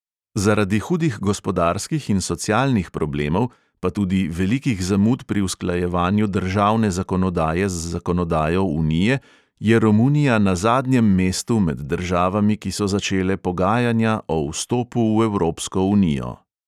Zaradi hudih gospodarskih in socialnih problemov, pa tudi velikih zamud pri usklajevanju državne zakonodaje z zakonodajo unije je romunija na zadnjem mestu med državami, ki so začele pogajanja o vstopu v evropsko unijo.